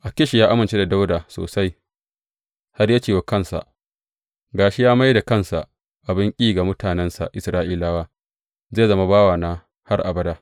Akish ya amince da Dawuda sosai, har ya ce wa kansa, Ga shi ya mai da kansa abin ƙi ga mutanensa Isra’ilawa, zai zama bawana har abada.